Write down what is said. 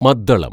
മദ്ദളം